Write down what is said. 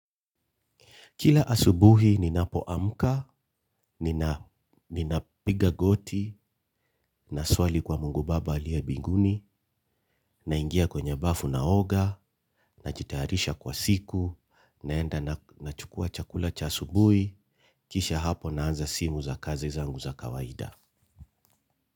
Kila asubuhi ninapoamka, nina ninapiga goti, naswali kwa Mungu baba aliye mbinguni, naingia kwenye bafu naoga, najitayarisha kwa siku, naenda nachukua chakula cha asubuhi, kisha hapo naanza simu za kazi zangu za kawaida.